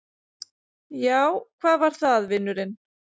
Já, hvað var það, vinurinn?